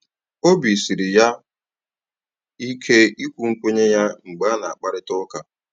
Obi siri ya ike ikwu nkwenye ya mgbe a na akparịta ụka